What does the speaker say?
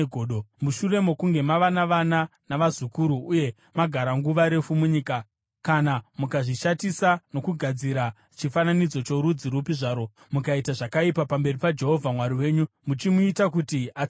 Mushure mokunge mava navana navazukuru uye magara nguva refu munyika, kana mukazvishatisa nokugadzira chifananidzo chorudzi rupi zvarwo, mukaita zvakaipa pamberi paJehovha Mwari wenyu muchimuita kuti atsamwe,